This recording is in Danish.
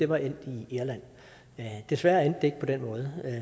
var endt i irland desværre endte det ikke på den måde